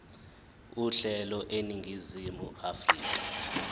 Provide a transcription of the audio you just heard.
uhlelo eningizimu afrika